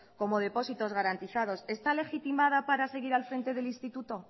como depósitos garantizados está legitimada para seguir al frente del instituto